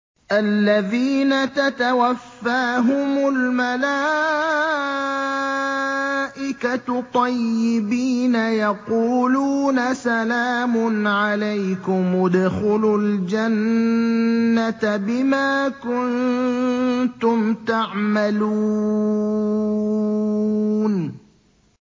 الَّذِينَ تَتَوَفَّاهُمُ الْمَلَائِكَةُ طَيِّبِينَ ۙ يَقُولُونَ سَلَامٌ عَلَيْكُمُ ادْخُلُوا الْجَنَّةَ بِمَا كُنتُمْ تَعْمَلُونَ